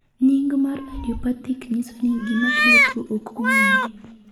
nying mar'idiopathic' nyiso ni gima kelo tuo ok ong'ere